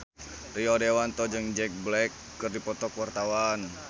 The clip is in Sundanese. Rio Dewanto jeung Jack Black keur dipoto ku wartawan